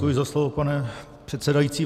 Děkuji za slovo, pane předsedající.